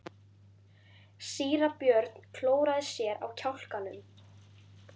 Síra Björn klóraði sér á kjálkanum.